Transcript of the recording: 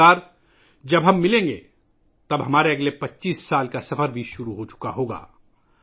اگلی بار جب ہم ملیں گے تو ہمارا اگلے 25 سالوں کا سفر شروع ہو چکا ہوگا